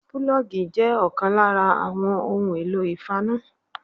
Púlójì' jé òkan lára àwọn ohun èlò ìfaná